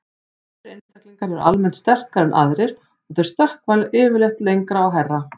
Þessir einstaklingar eru almennt sterkari en aðrir og þeir stökkva yfirleitt lengra og hærra.